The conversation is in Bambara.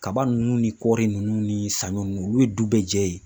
Kaba ninnu ni kɔɔri ninnu ni saɲɔ ninnu olu ye du bɛɛ jɛ ye